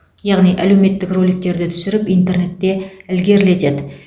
яғни әлеуметтік роликтерді түсіріп интернетте ілгерілетеді